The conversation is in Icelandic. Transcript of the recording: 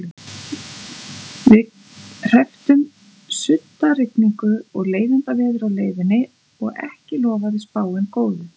Við hrepptum suddarigningu og leiðindaveður á leiðinni og ekki lofaði spáin góðu.